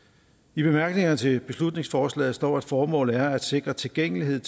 i bemærkningerne til beslutningsforslaget står der formålet er at sikre tilgængelighed